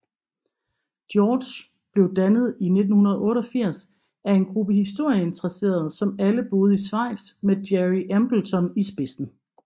George blev dannet i 1988 af en gruppe historieinteresserede som alle boede i Schweiz med Gerry Embleton i spidsen